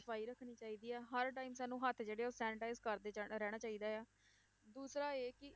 ਸਫ਼ਾਈ ਰੱਖਣੀ ਚਾਹੀਦੀ ਆ, ਹਰ time ਸਾਨੂੰ ਹੱਥ ਜਿਹੜੇ ਆ ਉਹ sanitize ਕਰਦੇ ਜਾ~ ਰਹਿਣਾ ਚਾਹੀਦਾ ਆ, ਦੂਸਰਾ ਇਹ ਕਿ